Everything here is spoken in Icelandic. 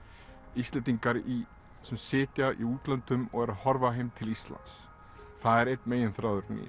Íslendingar sem sitja í útlöndum og eru að horfa heim til Íslands það er einn megin þráðurinn í